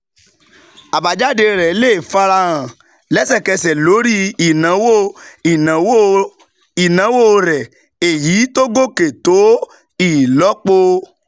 Àbájáde rẹ̀ lè fara hàn lẹ́sẹ̀kẹsẹ̀ lórí ìnáwó ìnáwó ìnáwó rẹ̀, èyí tó gòkè tó ìlọ́po